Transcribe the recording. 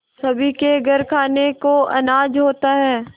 सभी के घर खाने को अनाज होता है